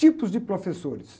Tipos de professores.